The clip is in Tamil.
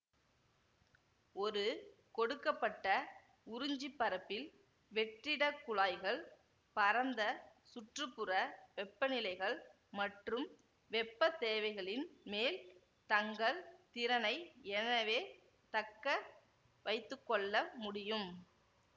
ஒரு கொடுக்க பட்ட உறிஞ்சு பரப்பில் வெற்றிடக் குழாய்கள் பரந்த சுற்று புற வெப்பநிலைகள் மற்றும் வெப்ப தேவைகளின் மேல் தங்கள் திறனை எனவே தக்க வைத்து கொள்ள முடியும்